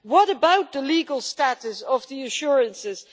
What about the legal status of the assurances?